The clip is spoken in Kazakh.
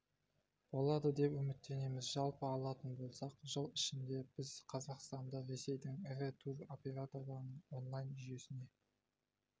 болады деп үміттенеміз жалпы алатын болсақ жыл ішінде біз қазақстанды ресейдің ірі тур операторларының онлайн-жүйесіне